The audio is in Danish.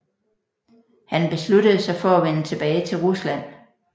Han besluttede sig for at vende tilbage til Rusland